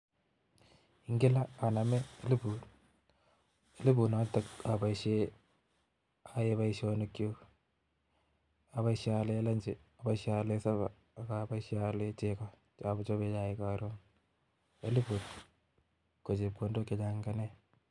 Ingele anome eliput, elipunoton aboishien anyone boishonikchuk, aboishien Aalen chekoo chochoben chaik en Karon, elipuni ko chepkondok chechang ingenam